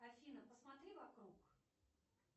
афина посмотри вокруг